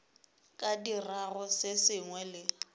ka dirago se sengwe le